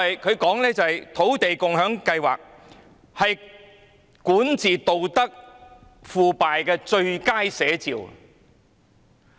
他說土地共享先導計劃是管治道德腐敗的最佳寫照。